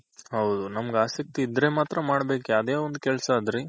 ಹೌದು ನಮ್ಗ್ ಆಸಕ್ತಿ ಇದ್ರೆ ಮಾತ್ರ ಮಾಡ್ಬೇಕ್ ಯಾವ್ದೆ ಒಂದ್ ಕೆಲ್ಸ ಆದ್ರಿ